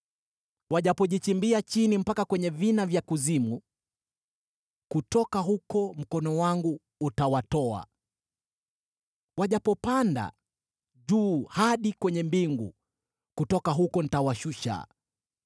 Wajapojichimbia chini mpaka kwenye vina vya kuzimu, kutoka huko mkono wangu utawatoa. Wajapopanda juu hadi kwenye mbingu, kutoka huko nitawashusha.